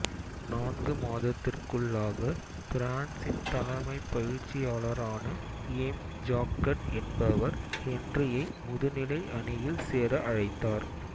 நான்கு மாதத்திற்குள்ளாக பிரான்சின் தலைமைப் பயிற்சியாளரான எய்ம் ஜாக்கட் என்பவர் ஹென்றியை முதுநிலை அணியில் சேர அழைத்தார்